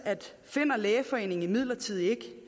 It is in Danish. finder lægeforeningen midlertidigt